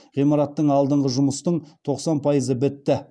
ғимараттың алдындағы жұмыстың тоқсан пайызы бітті